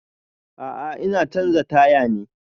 A'a ina canza taya ne